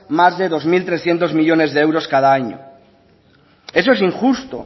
más de dos mil trescientos millónes de euros cada año eso es injusto